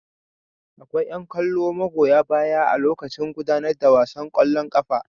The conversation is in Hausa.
Akwai yan kallo magoya baya a lokaci gudanar da wasan kwallon kafa.